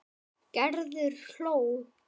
Gerður hló.